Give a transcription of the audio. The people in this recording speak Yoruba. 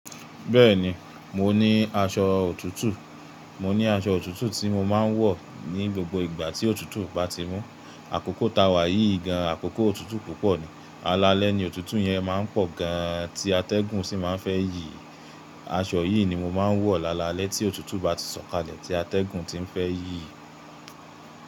Bẹ́ẹ̀ni, mo ní aṣọ òtútù. Mo ní aṣọ òtútù tí mo máa ń wọ̀ ní gbogbo ìgbà tí òtútù bá ti mú. Àkókò ta wà yìí gan, àkókò òtútù púpọ̀ ni. Lalẹ́ ni òtútù yẹn máa ń pọ̀ gan tí atẹ́gùn sì máa ń fẹ́ yí. Aṣọ yìí ni mo máa ń wọ̀ lalalẹ́ tí òtútù bá ti sọ̀kalẹ̀ tí atẹ́gùn ti ń fẹ́ yí.